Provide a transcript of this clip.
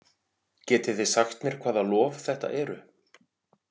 Getið þið sagt mér hvaða lof þetta eru?